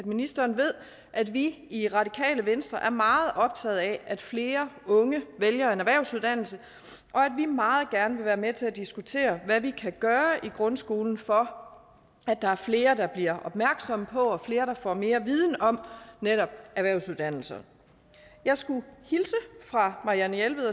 ministeren ved at vi i radikale venstre er meget optaget af at flere unge vælger en erhvervsuddannelse og at vi meget gerne vil være med til at diskutere hvad vi kan gøre i grundskolen for at der er flere der bliver opmærksomme på og flere der får mere viden om netop erhvervsuddannelser jeg skulle hilse fra marianne jelved